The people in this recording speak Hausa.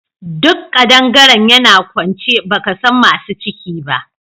Duk kadangaren yana kwance baka san masu ciki ba